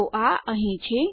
તો આ અહીં છે